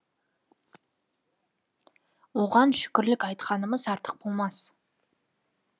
оған шүкірлік айтқанымыз артық болмас